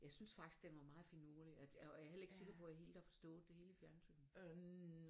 Jeg synes faktisk den var meget finurlig og jeg er heller ikke sikker på jeg har forstået det hele i fjernsynet